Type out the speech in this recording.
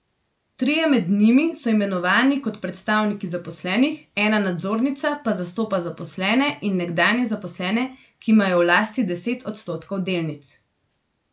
Trije med njimi so imenovani kot predstavniki zaposlenih, ena nadzornica pa zastopa zaposlene in nekdanje zaposlene, ki imajo v lasti deset odstotkov delnic.